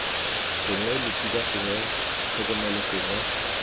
gongwe losika gongwe tlhokomelo gongwe